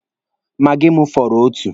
Maagi m fọrọ otu.